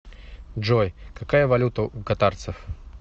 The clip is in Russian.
джой какая валюта у катарцев